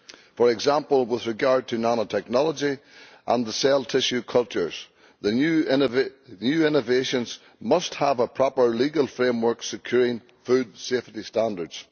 For example, with regard to nanotechnology and cell tissue cultures, the new innovations must have a proper legal framework securing food safety standards.